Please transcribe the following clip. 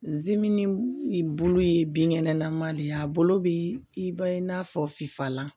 ni bolo ye binkɛnɛlama de ye a bolo bɛ i ba ye i n'a fɔ fifalan